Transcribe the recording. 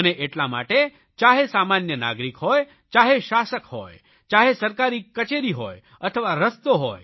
અને એટલા માટે ચાહે સામાન્ય નાગરિક હોય ચાહે શાસક હોય ચાહે સરકારી કચેરી હોય અથવા રસ્તો હોય